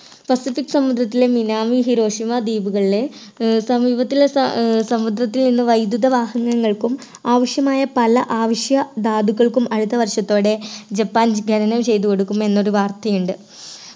Pacific സമുദ്രത്തിലെ Minami Hiroshima ദ്വീപുകളിലെ ഏർ സമീപത്തിലെ സാ ഏർ സമുദ്രത്തിൽ നിന്നും വൈദ്യുത വാഹനങ്ങൾക്കും ആവശ്യമായ പല ആവശ്യ ധാതുക്കൾക്കും അടുത്ത വർഷത്തോടെ ജപ്പാൻ ഖനനം ചെയ്തുകൊടുക്കും എന്നൊരു വാർത്തയുണ്ട്